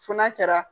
Fo n'a kɛra